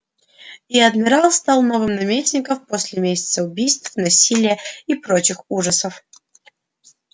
и адмирал стал новым наместником после месяца убийств насилия и прочих ужасов